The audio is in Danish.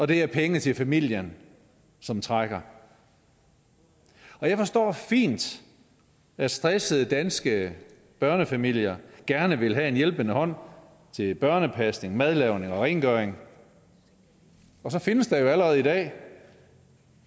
det er penge til familien som trækker jeg forstår fint at stressede danske børnefamilier gerne vil have en hjælpende hånd til børnepasning madlavning og rengøring og så findes der jo allerede i dag